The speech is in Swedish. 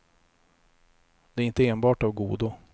Det är inte enbart av godo.